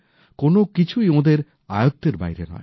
কোনো কিছুই ওঁদের আয়ত্ত্বের বাইরে নয়